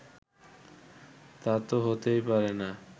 তা তো হতেই পারে না